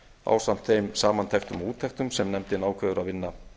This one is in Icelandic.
ásamt þeim samantektum og úttektum sem efni ákveður að vinna